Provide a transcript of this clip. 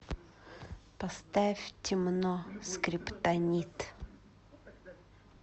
поставь темно скриптонит